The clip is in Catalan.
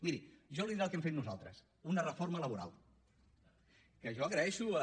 miri jo li diré el que hem fet nosaltres una reforma laboral que jo agraeixo a